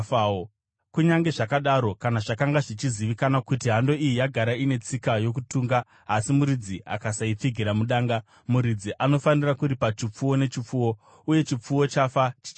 Kunyange zvakadaro, kana zvakanga zvichizivikanwa kuti hando iyi yagara ine tsika yokutunga, asi muridzi akasaipfigira mudanga, muridzi anofanira kuripa chipfuwo nechipfuwo, uye chipfuwo chafa chichava chake.